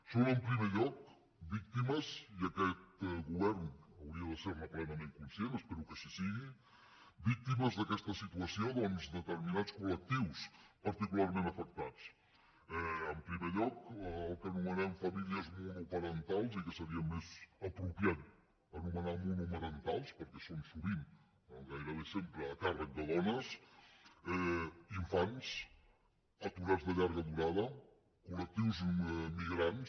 són en primer lloc víctimes i aquest govern hauria de ser ne plenament conscient espero que així sigui d’aquesta situació determinats col·lectius particularment afectats en primer lloc el que anomenem famílies monoparentals i que seria més apropiat anomenar monomarentals perquè són sovint o gairebé sempre a càrrec de dones infants aturats de llarga durada col·lectius immigrants